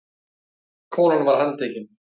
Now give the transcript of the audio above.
Konan var handtekin